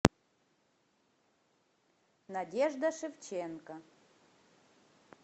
надежда шевченко